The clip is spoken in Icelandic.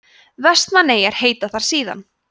vestmannaeyjar heita þar síðan